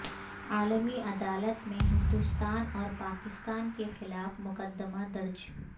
عالمی عدالت میں ہندوستان اور پاکستان کے خلاف مقدمہ درج